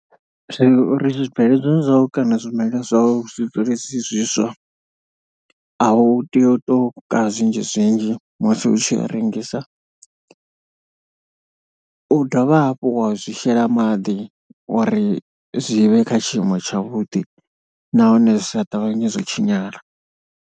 Zwino uri zwibveledzwa zwau kana zwimela zwau zwi dzule zwi zwiswa, a hu tei u tou ka zwinzhi zwinzhi musi u tshi a rengisa. U dovha hafhu wa zwi shela maḓi uri zwi vhe kha tshiimo tshavhuḓi nahone zwi sa ṱavhanye zwo tshinyala.